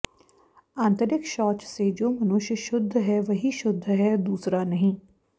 आन्तरिक शौच से जो मनुष्य शुद्ध है वही शुद्ध है दूसरा नहीं